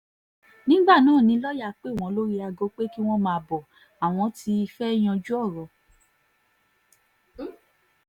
nígbà náà ni lọ́ọ́yà pè wọ́n lórí aago pé kí wọ́n máa bọ́ ọ àwọn ti fẹ́ẹ́ yanjú ọ̀rọ̀